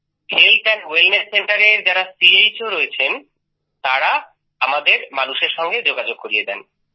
health wellness Centreএর যারা চোস রয়েছেন তারাও আমাদের মানুষের সঙ্গে যোগাযোগ করিয়ে দেন